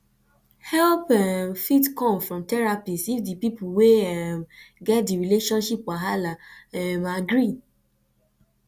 help um fit come from therapist if di pipo wey um get di relationship wahala um agree